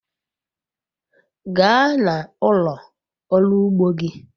gaa n'ulo oru ugbo gi